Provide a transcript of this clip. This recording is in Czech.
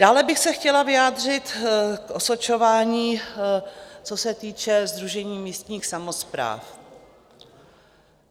Dále bych se chtěla vyjádřit k osočování, co se týče Sdružení místních samospráv.